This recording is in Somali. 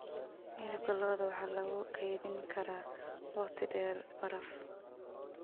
Hilibka lo'da waxaa lagu kaydin karaa waqti dheer baraf.